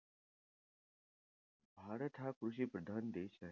भारत हा कृषिप्रधान देश आहे.